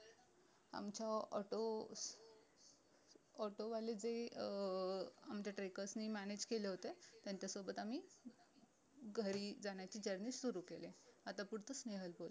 आमच्या auto auto वाले जे अं आमच्या trackers ने manage केले होते त्यांच्या सोबत आम्ही घरी जाण्याची journey सुरु केली आता पुढचं स्न्हेल बोल